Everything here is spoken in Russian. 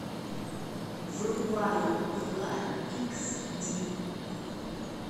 врубай пила икс ди